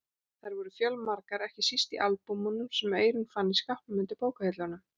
Þær voru fjölmargar, ekki síst í albúmunum sem Eyrún fann í skápnum undir bókahillunum.